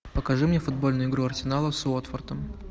покажи мне футбольную игру арсенала с уотфордом